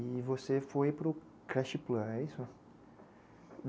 E você foi para o Crest Plan, é isso?